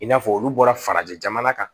I n'a fɔ olu bɔra farajɛ jamana kan